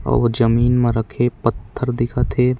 आऊ जमीन म रखे पत्थर दिखत हे।